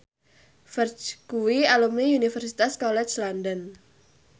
Ferdge kuwi alumni Universitas College London